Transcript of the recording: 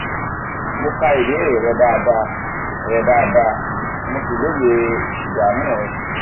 mo ka ìbéèrè rẹ dáadáa rẹ dáadáa mo sì lóye ìdààmú rẹ